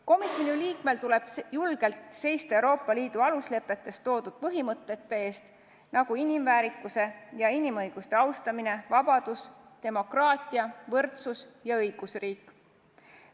Komisjoni liikmel tuleb julgelt seista Euroopa Liidu aluslepetes toodud põhimõtete eest, nagu inimväärikuse ja inimõiguste austamine, vabadus, demokraatia, võrdsus ja õigusriik.